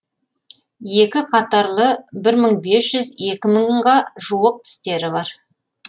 екі қатарлы бір мың бес жүз екі мыңға жуық тістері бар